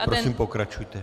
Prosím, pokračujte.